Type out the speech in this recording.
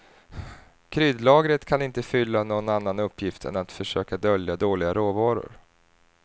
Kryddlagret kan inte fylla någon annan uppgift än att försöka dölja dåliga råvaror.